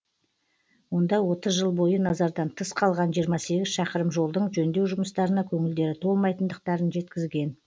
онда отыз жыл бойы назардан тыс қалған жиырма сегіз шақырым жолдың жөндеу жұмыстарына көңілдері толмайтындықтарын жеткізген